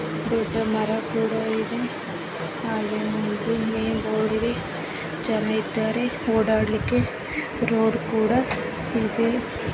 ದೊಡ್ಡ ಮರ ಕೂಡ ಇದೆ ಹಾಗೆ ಅಲ್ಲಿ ಜನ ಇದ್ದಾರೆ ಓಡಾಡ್ಲಿಕ್ಕೆ ರೋಡ್ ಕೂಡ ಇದೆ .